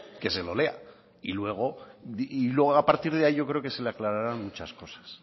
que se lo lea y luego a partir de ahí yo creo que se le aclararán muchas cosas